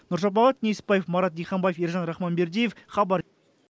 нұршапағат несіпбаев марат диханбаев ержан рахманбердиев хабар